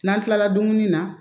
N'an kilala dumuni na